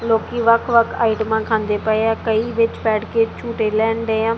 ਲੋਕੀ ਵੱਖ ਵੱਖ ਆਈਟਮਾਂ ਖਾਂਦੇ ਪਏ ਆ ਕਈ ਵਿੱਚ ਬੈਠ ਕੇ ਝੁੰਟੇ ਲੈਣ ਡਏ ਆ।